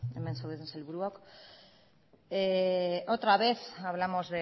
hemen zaudeten sailburuok otra vez hablamos